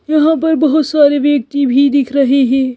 यहाँ पर बहुत सारे व्यक्ति भी दिख रहे हैं।